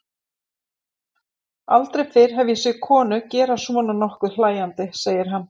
Aldrei fyrr hef ég séð konu gera svona nokkuð hlæjandi, segir hann.